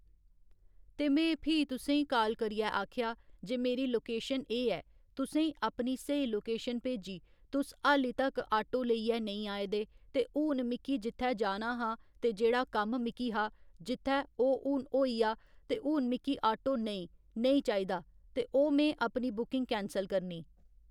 ते में फ्ही तुसें ई काल करियै आखेया जे मेरी लोकेशन एह् ऐ तुसें ई अपनी स्हेई लोकेशन भेजी तुस हल्ली तक आटो लेइयै नेईं आये दे ते हून मिक्की जित्थै जाना हा ते जेह्‌ड़ा कम्म मिक्की हा जित्थै ओह् हून होई आ ते हून मिक्की आटो नेईं नेईं चाहिदा ते ओह् में अपनी बुकिंग कैंसल करनी।